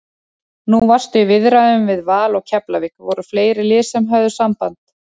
Nú varstu í viðræðum við Val og Keflavík, voru fleiri lið sem höfðu samband?